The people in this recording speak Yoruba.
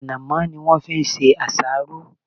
Ànàmó ni won fi se àsáró